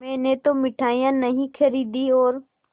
मैंने तो मिठाई नहीं खरीदी और